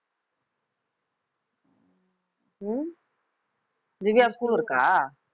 உம் திவ்யாக்கு school இருக்கா